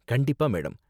கண்டிப்பா, மேடம்